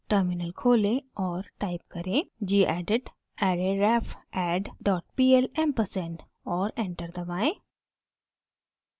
terminal खोलें और type करें: gedit arrayrefadd dot pl ampersand और एंटर दबाएं